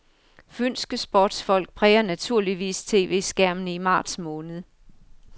Fynske sportsfolk præger naturligvis TVskærmene i marts måned.